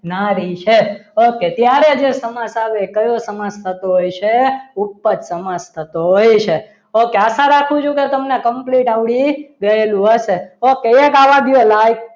નારી છે okay ત્યારે જે સમાસ આવે તે કયો સમાસ થતો હશે ઉપજ સમાસ થતો હોય છે okay આશા રાખું છું કે તમને complete આવડી ગયેલું હશે okay એક આવા દો like